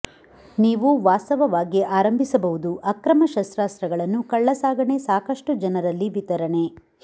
ನೀವು ವಾಸ್ತವವಾಗಿ ಆರಂಭಿಸಬಹುದು ಅಕ್ರಮ ಶಸ್ತ್ರಾಸ್ತ್ರಗಳನ್ನು ಕಳ್ಳಸಾಗಣೆ ಸಾಕಷ್ಟು ಜನರಲ್ಲಿ ವಿತರಣೆ